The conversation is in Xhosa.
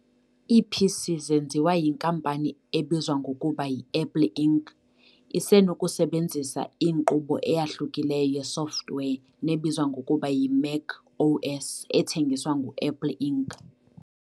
Ii-PC zenziwa yinkampani ebizwa ngokuba yi-Apple Inc. isenokusebenzisa inkqubo eyahlukileyo ye-software nebizwa ngokuba yi-Mac OS ethengiswa ngu-Apple Inc.